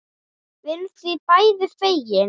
Við erum því bæði fegin.